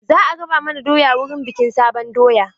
Za a raba mana doya wurin bikin sabon doya.